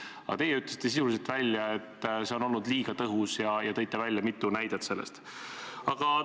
Aga teie ütlesite sisuliselt välja, et see on olnud liiga tõhus, ja tõite mitu näidet selle kohta.